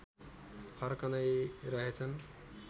फर्कँदै रहेछन्